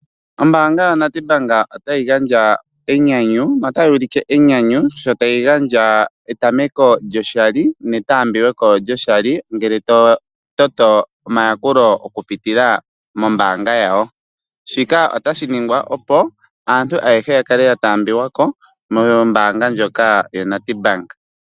Ombanga ya NEDBANK ota yi gandja enyanyu no ta yuulike enyanyu sho tayi gandja etameko lyo shali netaambiweko lyoshali ngele tototo omayakulo okupitila mombanga yawo, shika otashi ningwa opo aantu ayehe yakale yataambiwako mombanga ndjoka yaNEDBANK.